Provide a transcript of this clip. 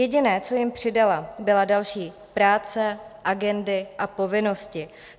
Jediné, co jim přidala, byla další práce, agendy a povinnosti.